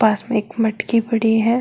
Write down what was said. पास में एक मटकी पड़ी है।